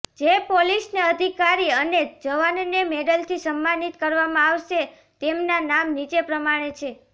જે પોલીસ અધિકારી અને જવાનને મેડલથી સન્માનિત કરવામાં આવશે તેમના નામ નીચે પ્રમાણે છે